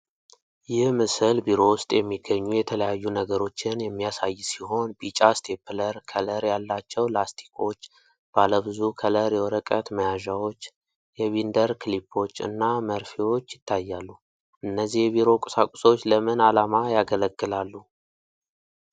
ይህ ምስል ቢሮ ውስጥ የሚገኙ የተለያዩ ነገሮችን የሚያሳይ ሲሆን፣ ቢጫ ስቴፕለር፣ ከለር ያላቸው ላስቲኮች፣ ባለብዙ ከለር የወረቀት መያዣዎች፣ የቢንደር ክሊፖች እና መርፌዎች ይታያሉ፤ እነዚህ የቢሮ ቁሳቁሶች ለምን ዓላማ ያገለግላሉ?